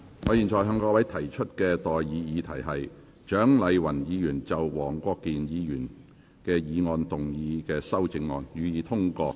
我現在向各位提出的待議議題是：蔣麗芸議員就黃國健議員議案動議的修正案，予以通過。